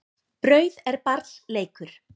Brauð er barns leikur.